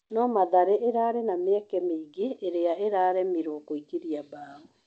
No Mathare ĩrarĩ na mĩeke mĩingĩ ĩrĩa ĩraremirwo kũingĩria mbao.